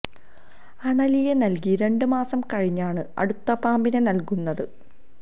അണലിയെ നൽകി രണ്ട് മാസം കഴിഞ്ഞാണ് അടുത്ത പാമ്പിനെ നൽകുന്നത്